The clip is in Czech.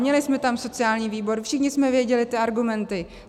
Měli jsme tam sociální výbor, všichni jsme věděli ty argumenty.